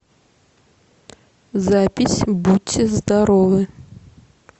запись будьте здоровы